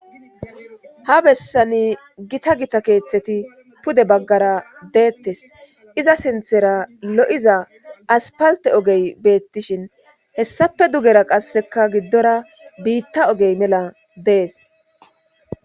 Ha bessani gita gita keeththeti pude baggara deettes iza sinthera lo'iza aspalte ogey beettishin hessape dugera qasseka giddora biitta ogey mela dees.